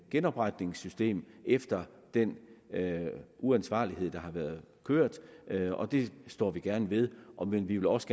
genopretningssystem efter den uansvarlighed der har været kørt og det står vi gerne ved om end vi også